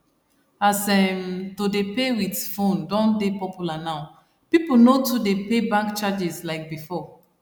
as um to dey pay wit phone don dey popular now people no too dey pay bank charges like before